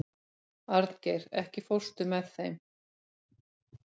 Arngeir, ekki fórstu með þeim?